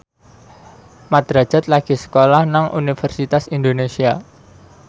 Mat Drajat lagi sekolah nang Universitas Indonesia